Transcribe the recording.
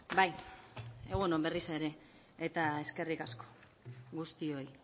bai egun on berriz ere eta eskerrik asko guztioi